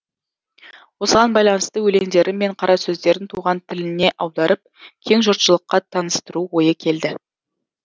осыған байланысты өлеңдері мен қарасөздерін туған тіліне аударып кең жұртшылыққа таныстыру ойы келді